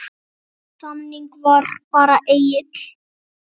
Þannig var bara Egill.